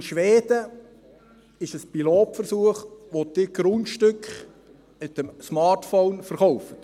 – In Schweden gibt es einen Pilotversuch, der die Grundstücke mit dem Smartphone verkauft.